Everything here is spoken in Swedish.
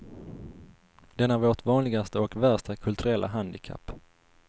Den är vårt vanligaste och värsta kulturella handikapp.